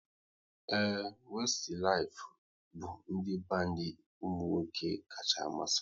Ee, Westilif bụ ndị bandi ụmụnwoke kacha amasị m